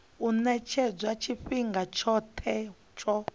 u ṅetshedzwa tshifhinga tshoṱhe tsho